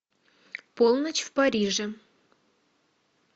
полночь в париже